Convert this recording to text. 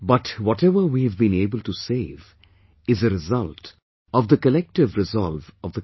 But whatever we have been able to save is a result of the collective resolve of the country